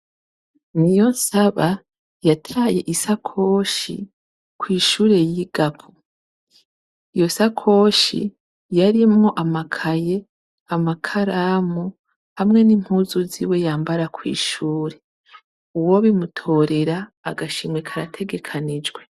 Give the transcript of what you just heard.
NIYONSABA yataye isakoshi kwishure yigako, iyo sakoshi yarimwo amakaye, amakaramu hamwe n'impuzu ziwe yambara kwishure uwobimutorera agashimwe karategekanijwe.